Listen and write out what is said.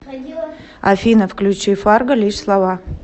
афина включи фарго лишь слова